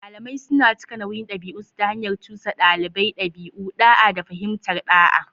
Malamai suna cika nauyin ɗabi'unsu ta hanyar cusa ɗalibai ɗabi'u, da'a, da fahimtar ɗa'a.